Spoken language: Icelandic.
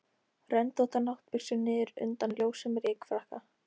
Röndóttar náttbuxur niður undan ljósum rykfrakka.